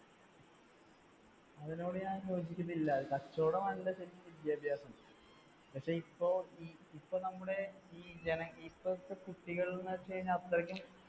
അതിനോട് ഞാൻ യോജിക്കുന്നില്ല, കച്ചവടമാണ് ശരിക്കും വിദ്യാഭ്യാസം. പക്ഷേ ഇപ്പോ ഈ, ഇപ്പോ നമ്മുടെ ഈ ഇപ്പോഴത്തെ കുട്ടികൾ എന്ന് വെച്ചു കഴിഞ്ഞാൽ അത്രയ്ക്കും